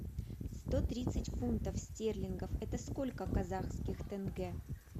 сто тридцать фунтов стерлингов это сколько казахских тенге